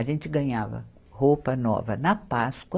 A gente ganhava roupa nova na Páscoa.